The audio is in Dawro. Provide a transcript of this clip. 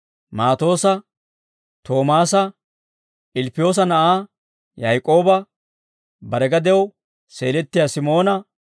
Maatoossa, Toomaasa, Ilppiyoosa na'aa Yaak'ooba, bare gadew seelettiyaa Simoona,